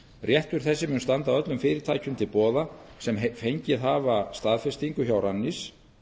réttur þessi mun standa öllum fyrirtækjum til boða sem fengið hafa staðfestingu hjá rannís